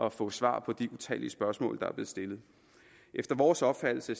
at få svar på de utallige spørgsmål der er blevet stillet efter vores opfattelse